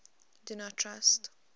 do not trust